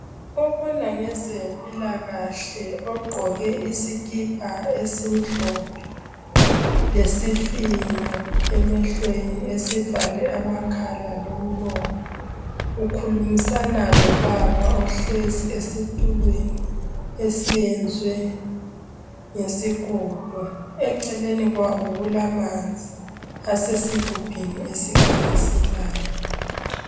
Obona ngezempilakahle ogqoke isikipa esimhlophe lesifinyo emehlweni esivale amakhala lomlomo. Ukhulumisana lobaba ohlezi esitulweni esiyenzwe ngesigodo. Eceleni kwabo kulamanzi asesigubhini esikhanyiselayo.